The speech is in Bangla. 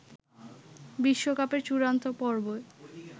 বিশ্বকাপের চূড়ান্ত পর্বে